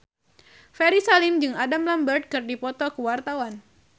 Ferry Salim jeung Adam Lambert keur dipoto ku wartawan